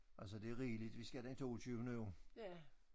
Altså det er rigeligt vi skal den toogtyvende jo